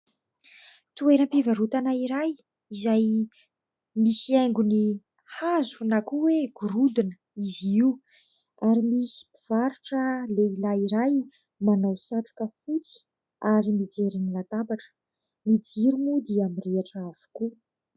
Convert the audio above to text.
Toeram-pivarotana iray izay misy haingony hazo na koa hoe gorodona izy io ary misy mpivarotra lehilahy iray manao satroka fotsy ary mijery ny latabatra, ny jiro moa dia mirehitra avokoa.